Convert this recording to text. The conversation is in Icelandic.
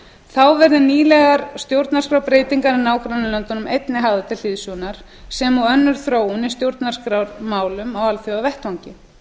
þá verði nýlegar stjórnarskrárbreytingar í nágrannalöndum einnig hafðar til hliðsjónar sem og önnur þróun í stjórnarskrármálum á alþjóðavettvangi